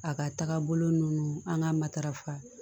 A ka taga bolo nunnu an ka matarafa